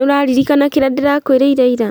Nĩũraririkana kĩrĩa ndĩrakwĩrire ira?